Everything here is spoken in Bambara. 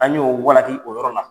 An y'o walaki o yɔrɔ la.